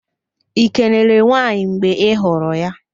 Ị kelere nwaanyị mgbe ị hụrụ ya?